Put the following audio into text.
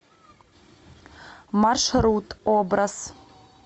маршрут образ